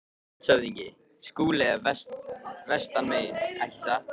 LANDSHÖFÐINGI: Skúli er vestan megin, ekki satt?